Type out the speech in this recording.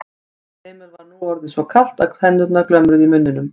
Emil var nú orðið svo kalt að tennurnar glömruðu í muninum.